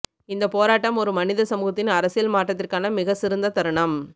இந்த போராட்டம் ஒரு மனித சமூகத்தின் அரசியல் மாற்றத்திற்கான மிக சிறந்த தருணம்